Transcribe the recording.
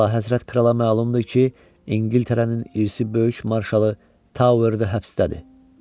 Əlahəzrət krala məlumdur ki, İngiltərənin irsi böyük marşalı Towerdə həbsdədir.